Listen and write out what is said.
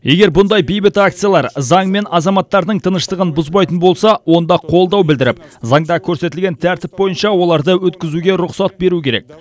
егер бұндай бейбіт акциялар заң мен азаматтардың тыныштығын бұзбайтын болса онда қолдау білдіріп заңда көрсетілген тәртіп бойынша оларды өткізуге рұқсат беру керек